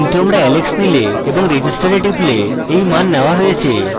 কিন্তু আমরা alex নিলে এবং আমরা register we টিপলে এই মান নেওয়া হয়েছে